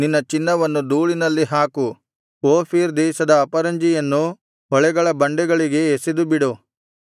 ನಿನ್ನ ಚಿನ್ನವನ್ನು ಧೂಳಿನಲ್ಲಿ ಹಾಕು ಓಫೀರ್ ದೇಶದ ಅಪರಂಜಿಯನ್ನು ಹೊಳೆಗಳ ಬಂಡೆಗಳಿಗೆ ಎಸೆದುಬಿಡು